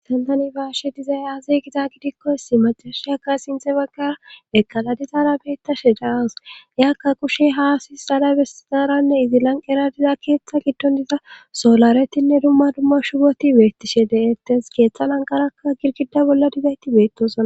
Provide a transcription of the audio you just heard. tantani ba'yashe dizay azi giza gidikkosi macashi akka sinte baggara ekala dizara beettashe daaws yakka kushe haasis xala besizaranne izi lanqera diza keeththa giddon diza solaretinne dumma dumma shugoti beettishe de7ettes keeththa lanqarakka girgida bolla dizayti beettosna